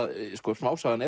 smásagan